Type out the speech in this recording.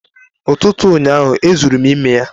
Ututu ụnyahụ ezuru ime ya